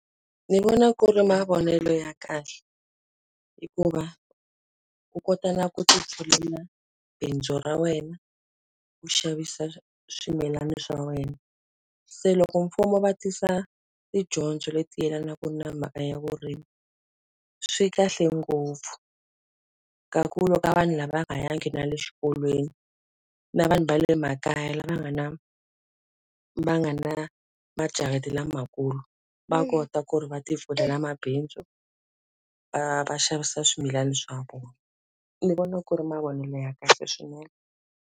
Ndzi vona ku ri mavonelo ya kahle, hikuva u kota na ku tipfulela bindzu ra wena, ku xavisa swimilana swa wena. Se loko mfumo va tisa tidyondzo leti yelanaka na mhaka ya vurimi, swi kahle ngopfu. Ka ku ka vanhu lava nga yangi na le xikolweni, na vanhu va le makaya lava nga na va nga majarata lamakulu. Va kota ku ri va ti pfulela mabindzu, va va xavisa swimilana swa vona. Ni vona ku ri mavonelo ya kahle swinene.